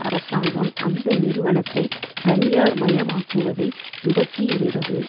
அரசாங்கம் அந்த நிறுவனத்தை தனியார் மயமாக்குவதைத் துவக்கி இருந்தது